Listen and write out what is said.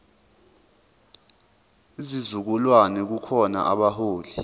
sizukulwane kukhona abaholi